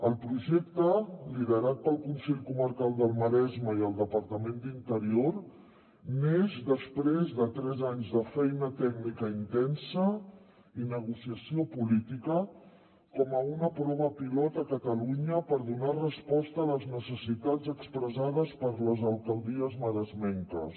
el projecte liderat pel consell comarcal del maresme i el departament d’interior neix després de tres anys de feina tècnica intensa i negociació política com una prova pilot a catalunya per donar resposta a les necessitats expressades per les alcaldies maresmenques